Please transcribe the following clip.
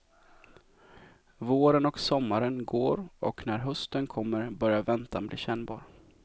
Våren och sommaren går och när hösten kommer börjar väntan bli kännbar.